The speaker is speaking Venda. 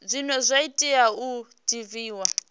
zwine zwa tea u divhiwa